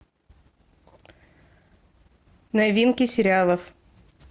новинки сериалов